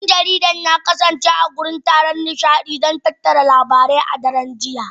Dan jaridar ya kasance a wurin taron nishadi don tattara labarai a daren jiya